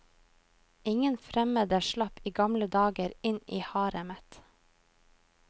Ingen fremmede slapp i gamle dager inn i haremet.